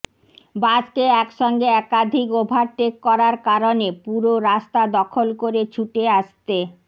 বাসকে একসঙ্গে একাধিক ওভারটেক করার কারণে পুরো রাস্তা দখল করে ছুটে আসতে